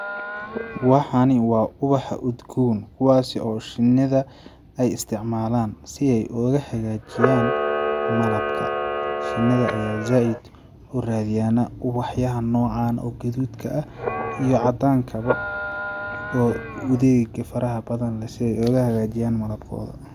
Waxani waa ubaxa udgoon, kuwaasi oo shinida ay isticmalan si ay ooga hagaajiyan malabka shinida ayaa zaid uradiyanaa ubaxa yaha nocan o gadudka ah iyo cadaanka bo udeega faraha badan leh si ay ooga hagajiyaan malabkooda.